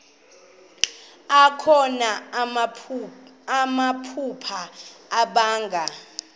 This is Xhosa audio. akho namaphupha abanga